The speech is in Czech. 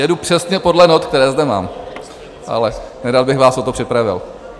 Jedu přesně podle not, které zde mám, ale nerad bych vás o to připravil.